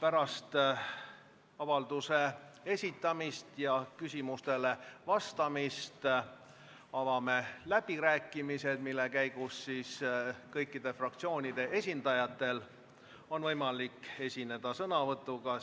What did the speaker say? Pärast avalduse esitamist ja küsimustele vastamist avame läbirääkimised, mille käigus on kõikide fraktsioonide esindajatel võimalik esineda sõnavõtuga